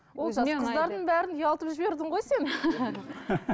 олжас қыздардың бәрін ұялтып жібердің ғой сен